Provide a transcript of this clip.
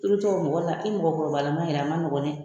I bi to ɔ mɔgɔ la, i mɔgɔkɔrɔba ma yɛrɛ ma nɔgɔ dɛ.